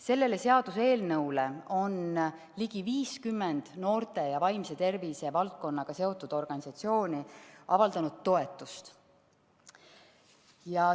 Sellele seaduseelnõule on ligi 50 noorte ja vaimse tervise valdkonnaga seotud organisatsiooni toetust avaldanud.